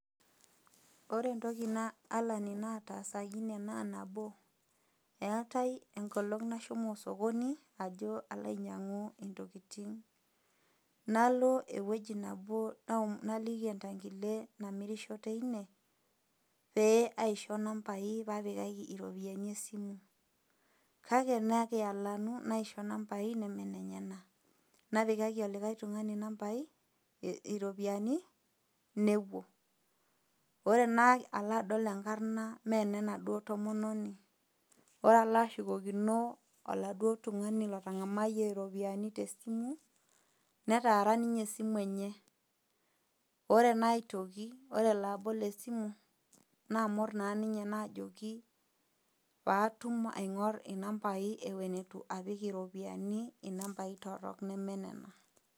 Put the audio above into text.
Ore toki alani nataasakini naa, nabo, eatai enkolong' nashomo sokoni ajo alo ainyang'u intokitin , nalo ewueji nabo naliki entang'ile namirisho teine pee aisho inambai pee apikaki iropiani esimu, kake nekialanu naisho inambai nemee inenyena, napikaki olikai tung'ani inambai, iropiani nepuo, ore naa alo adol enkarna mee ene enanaduoo tomononi, ore alo ashukokino oladuo tung'ani otang'amayie iropiani te esimu, netaara ninye esimu enye, ore naa aitoki ore elo aabol esimu naamor naa ninye naajoki paatum aing'or inambai ewuen eitu apik iropiani inambai torok nemee nena.